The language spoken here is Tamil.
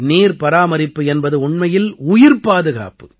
நீர் பராமரிப்பு என்பது உண்மையில் உயிர்ப் பாதுகாப்பு